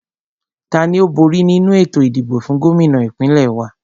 Tani ó bóri nínu ètò ìdìbò fún Gómìnà ìpínlẹ̀ wa?